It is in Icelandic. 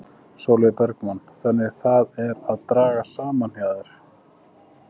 Sólveig Bergmann: Þannig það er að draga saman hjá þér?